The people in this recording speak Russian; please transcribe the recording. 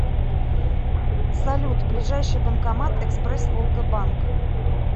салют ближайший банкомат экспресс волга банк